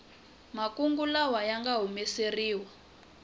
makungu lawa ya nga hlamuseriwa